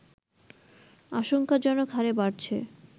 আশঙ্কাজনক হারে বাড়ছে